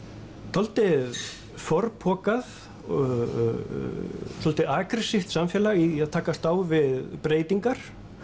dálítið forpokað svolítið samfélag í að takast á við breytingar